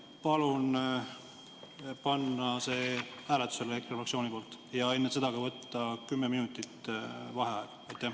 Palun EKRE fraktsiooni nimel panna see ettepanek hääletusele ja enne seda võtta kümme minutit vaheaega.